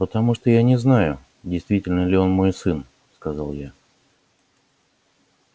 потому что я не знаю действительно ли он мой сын сказал я